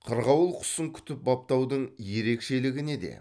қырғауыл құсын күтіп баптаудың ерекшелігі неде